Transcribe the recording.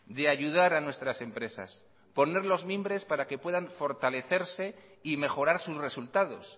de ayudar a nuestras empresas poner los mimbres para que puedan fortalecerse y mejorar sus resultados